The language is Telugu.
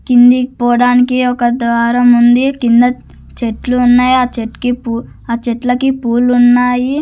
కిందికి పోడానికి ఒక ద్వారముంది కింద చెట్లున్నాయి ఆ చెట్కి పూ ఆ చెట్లకి పూలు ఉన్నాయి.